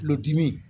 Tulodimi